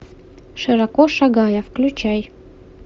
широко шагая включай